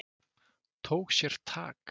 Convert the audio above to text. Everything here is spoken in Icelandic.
Tók sér tak.